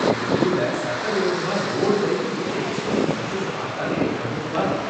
எங்க தெருவுல சட்டவிரோதமா ரோடு வரைக்கும் வீட்டை எக்ஸ்டெண்ட் பண்ணி கட்டுறத பார்த்தாலே கடுப்பா இருக்கு.